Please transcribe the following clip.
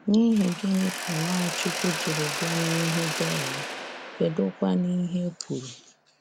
N'ihi gịnị ka Nwachukwu jiri bịa n'ihu Dera?, kedụkwanu ihe kwuru?